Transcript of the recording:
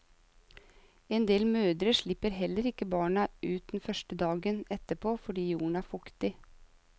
En del mødre slipper heller ikke barna ut den første dagen etterpå fordi jorden er fuktig.